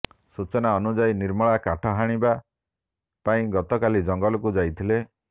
ସୂଚନା ଅନୁଯାୟୀ ନିର୍ମଳା କାଠ ଆଣିବା ପାଇଁ ଗତକାଲି ଜଙ୍ଗଲକୁ ଯାଇଥିଲେ